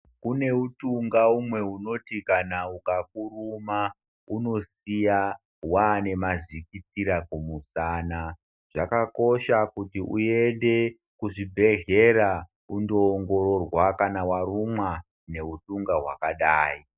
Kune utunga umwe wekuti kana ukakuruma unosiya wane mazidikitira kumusana ,zvakakosha kuti uende kuzvigwehlera unondoongororwa kana warumwa neudunga wakadai.